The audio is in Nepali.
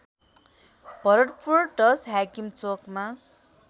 भरतपुर १० हाकिम चोकमा